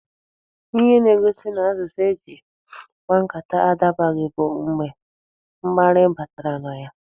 Ihe na-egosi n'asụsụ eji kpaa nkata adabaghị bụ mgbe mkparị batara na ya.